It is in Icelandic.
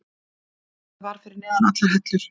Þetta var fyrir neðan allar hellur.